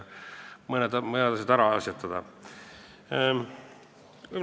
Mõned asjad on tarvis ära asjatada.